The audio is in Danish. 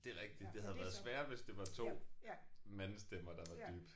Det er rigtig. Det havde været sværere hvis det var 2 mandestemmer der var dybe